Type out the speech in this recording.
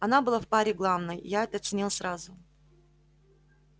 она была в паре главной я это оценил сразу